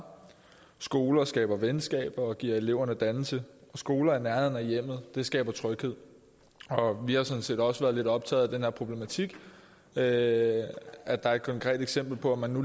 skoler skaber venskaber og giver eleverne dannelse og skoler i nærheden af hjemmet skaber tryghed vi har sådan set også været lidt optaget af den her problematik med at der er et konkret eksempel på at man